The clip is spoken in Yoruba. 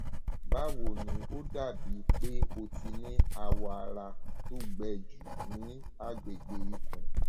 báwo ni o ó dàbí pé o ti ní awọ ara tó gbẹ jù ní agbègbè ikùn